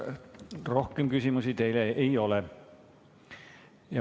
Rohkem küsimusi teile ei ole.